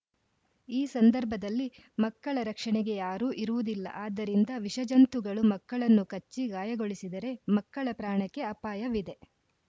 ಈ ಸಂದರ್ಭದಲ್ಲಿ ಮಕ್ಕಳ ರಕ್ಷಣೆಗೆ ಯಾರೂ ಇರುವುದಿಲ್ಲ ಆದ್ದರಿಂದ ವಿಷ ಜಂತುಗಳು ಮಕ್ಕಳನ್ನು ಕಚ್ಚಿ ಗಾಯಗೊಳಿಸಿದರೆ ಮಕ್ಕಳ ಪ್ರಾಣಕ್ಕೆ ಅಪಾಯವಿದೆ